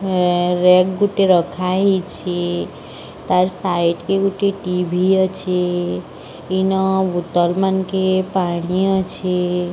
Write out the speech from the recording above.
Rack ଗୁଟେ ରଖା ହେଇଛି। ତାର ସାଇଟ୍ କେ ଗୁଟେ ଟି_ଭି ଅଛି। ଇନ ବୁତଲ ମାନକେ ପାଣି ଅଛି।